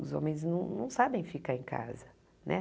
Os homens não não sabem ficar em casa né.